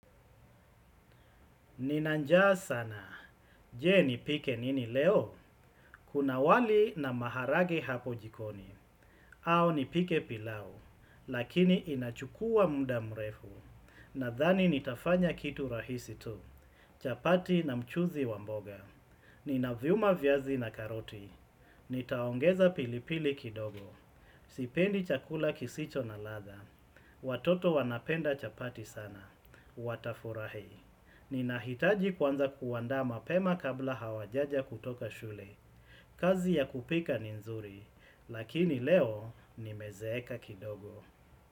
Nina njaa sana, je nipike nini leo, kuna wali na maharage hapo jikoni, au nipike pilau, lakini inachukua muda mrefu, nadhani nitafanya kitu rahisi tu, chapati na mchuzi wa mboga, nina vyuma viazi na karoti, nitaongeza pilipili kidogo, sipendi chakula kisicho na ladha, watoto wanapenda chapati sana, watafurahi. Ninahitaji kuanza kuanda mapema kabla hawajaja kutoka shule. Kazi ya kupika ni nzuri, lakini leo nimezeeka kidogo.